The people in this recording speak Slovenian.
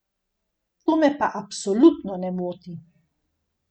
To me pa absolutno ne moti.